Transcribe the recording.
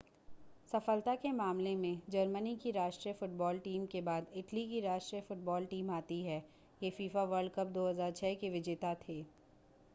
सफलता के मामले में जर्मनी की राष्ट्रीय फुटबॉल टीम के बाद इटली की राष्ट्रीय फुटबॉल टीम आती है ये फीफा वर्ल्ड कप 2006 के विजेता थे